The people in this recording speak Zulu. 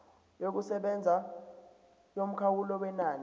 yokusebenza yomkhawulo wenani